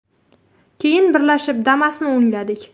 Keyin birgalashib Damas’ni o‘ngladik.